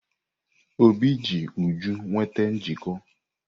Obi ji Uju nweta njikọ.